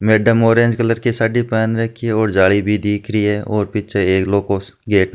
madam orange colour की साडी पहन रही है और जाली भी दिख रही है और पीछे एक लोह को गेट --